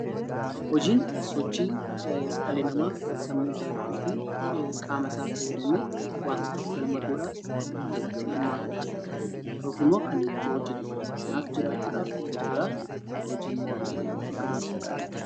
Hojiin sochii dhalli namaa qaama isaa fayyadamee waanta tokko galma gahuudhaaf kan irratti hirmaatudha yookaan immoo hojjetudha. Kanaaf jiraachuudhaaf hojjetanii socho'uun barbaachisaadha.